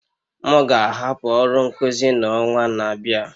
M ga-ahapụ ọrụ nkuzi n'ọnwa na-abịa